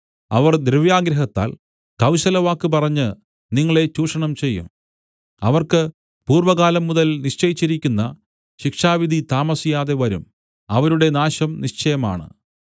അവർ ദ്രവ്യാഗ്രഹത്താൽ കൗശലവാക്ക് പറഞ്ഞ് നിങ്ങളെ ചൂഷണം ചെയ്യും അവർക്ക് പൂർവ്വകാലം മുതൽ നിശ്ചയിച്ചിരിയ്ക്കുന്ന ശിക്ഷാവിധി താമസിയാതെവരും അവരുടെ നാശം നിശ്ചയമാണ്